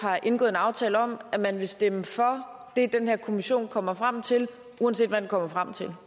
har indgået en aftale om at man vil stemme for det den her kommission kommer frem til uanset hvad den kommer frem til